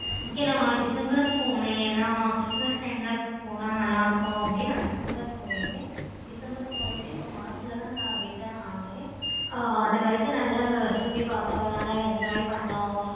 okay நா december when christmas time ல போன நல்ல இருக்கும் அப்படி நா december போயிருந்தேன். december போயிட்டு நா march ல தான் return ஆனேன். ஆஹ் அது வரைக்கும் நல்ல சுத்தி பார்த்தோம் நல்ல enjoy பண்ணோம்.